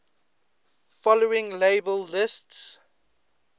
following table lists